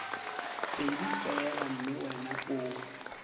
pedi fela mme wena o